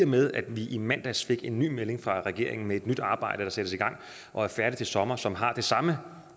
med at vi i mandags fik en ny melding fra regeringen om et nyt arbejde der sættes i gang og er færdigt til sommer og som har det samme